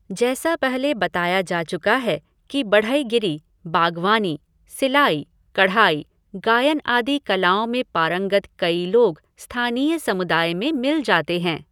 जैसा पहले बताया जा चुका है कि बढ़ईगीरी, बागवानी, सिलाई, कढ़ाई, गायन आदि कलाओं में पारंगत कई लोग स्थानीय समुदाय में मिल जाते हैं।